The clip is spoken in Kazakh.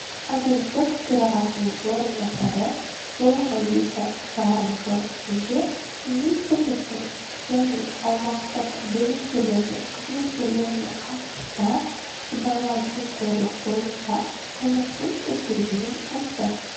агенттік төрағасының орынбасары соңғыекі жарым жыл ішінде министрліктің және аумақтық бөлімшелердің қызметкерлеріне қатысты сыбайлас жемқорлық бойынша қылмыстың тіркелгенін айтты